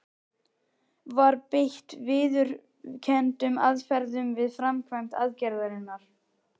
Var beitt viðurkenndum aðferðum við framkvæmd aðgerðarinnar?